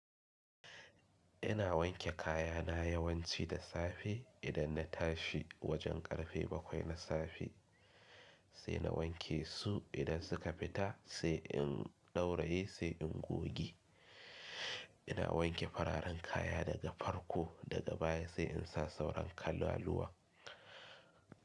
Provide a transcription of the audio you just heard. Ina wanke kaya na yawanci da safe idan na tashi wajen karfe bakwai na safe. Sai na wanke su idan suka fita sai in ɗauraye sai in goge. Ina wanke fararen kaya daga farko daga baya sai in sa sauran kalaluwa.